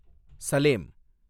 Salem